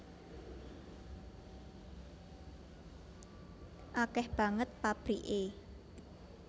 Akeh banget pabrike